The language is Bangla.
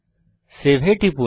সেভ এ টিপুন